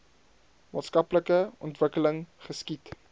maatskaplike ontwikkeling geskied